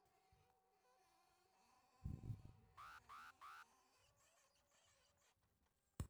ore aitipij nkulupuok aitaman abori enkaitubuku, aikwnoo ilbaat too nkulupuok